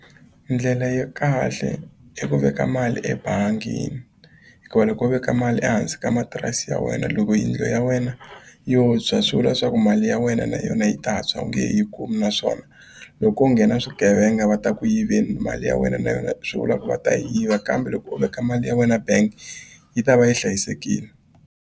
Ndlela ya kahle i ku veka mali ebangini hikuva loko wo veka mali ehansi ka matirasi ya wena loko yindlu ya wena yo tshwa swi vula leswaku mali ya wena na yona yi ta tshwa u nge he yi kumi naswona loko ko nghena swigevenga va ta ku yiveni mali ya wena na yona swi vula ku va ta yiva kambe loko u veka mali ya wena bank yi ta va yi hlayisekile.